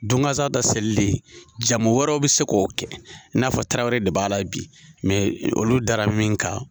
Don gansan ta selili, jamu wɛrɛw bɛ se k'o kɛ, i n'a fɔ Tarawele de b'ala bi olu d'a la bi olu dara min kan.